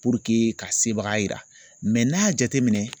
Puruke ka sebaga yira n'a y'a jateminɛ.